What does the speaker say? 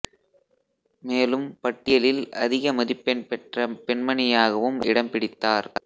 மேலும் பட்டியலில் அதிக மதிப்பெண் பெற்ற பெண்மணியாகவும் இடம் பிடித்தார்